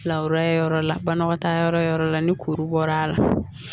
yɔrɔ la banakɔtaa yɔrɔ yɔrɔ la ni kuru bɔra a la